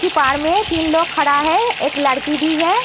में तीन लोग खड़ा है। एक लड़की भी है।